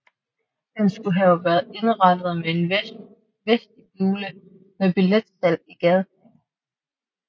Den skulle have være indrettet med en vestibule med billetsalg i gadeplan